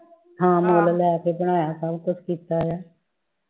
ਹਾਂ ਮੁੱਲ ਲੈ ਕੇ ਬਣਾਇਆ ਸਭ ਕੁਛ ਕੀਤਾ